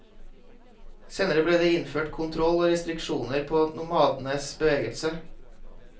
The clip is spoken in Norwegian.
Senere ble det innført kontroll og restriksjoner på nomadenes bevegelse.